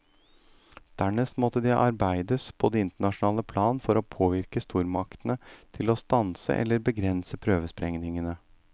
Dernest måtte det arbeides på det internasjonale plan for å påvirke stormaktene til å stanse eller begrense prøvesprengningene.